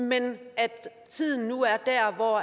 men at tiden nu er der hvor